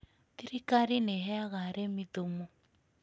Thirikari nĩ ĩheaga arĩmi thumu.